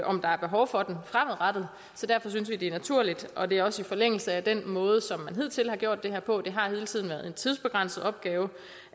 om der er behov for den fremadrettet så derfor synes vi det er naturligt og det er også i forlængelse af den måde som man hidtil har gjort det her på det har hele tiden været en tidsbegrænset opgave